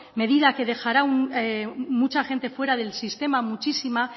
medida que dejará mucha gente fuera del sistema muchísima